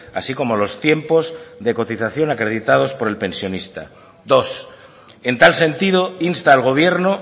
así como los tiempos de cotización acreditados por el pensionista dos en tal sentido insta al gobierno